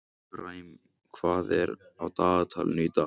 Efraím, hvað er á dagatalinu í dag?